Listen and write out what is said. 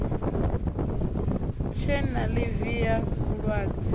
tshe na ḽivi ya vhulwadze